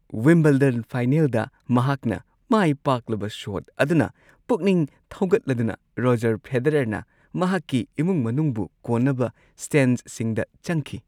Wimbledon ꯐꯥꯏꯅꯦꯜꯗ ꯃꯍꯥꯛꯅ ꯃꯥꯏꯄꯥꯛꯂꯕ ꯁꯣꯠ ꯑꯗꯨꯅ ꯄꯨꯛꯅꯤꯡ ꯊꯧꯒꯠꯂꯗꯨꯅ, ꯔꯣꯖꯔ ꯐꯦꯗꯔꯔꯅ ꯃꯍꯥꯛꯀꯤ ꯏꯃꯨꯡ ꯃꯅꯨꯡꯕꯨ ꯀꯣꯟꯅꯕ ꯁ꯭ꯇꯦꯟꯗꯁꯤꯡꯗ ꯆꯪꯈꯤ ꯫